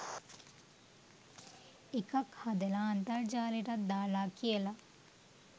එකක් හදලා අන්තර්ජාලෙටත් දාලා කියලා